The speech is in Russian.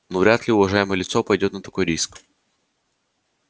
ну вряд ли уважаемое лицо пойдёт на такой риск